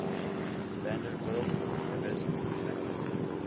vanderbilt university faculty